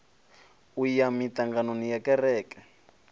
u ya miṱanganoni ya kereke